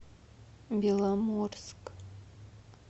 беломорск